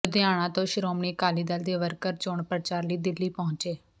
ਲੁਧਿਆਣਾ ਤੋਂ ਸ਼੍ਰੋਮਣੀ ਅਕਾਲੀ ਦਲ ਦੇ ਵਰਕਰ ਚੋਣ ਪ੍ਰਚਾਰ ਲਈ ਦਿੱਲੀ ਪਹੁੰਚੇ